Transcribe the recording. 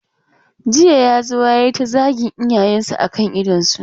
Jiya ya zo ya yi ta zagin iyayensu a kan idonsu.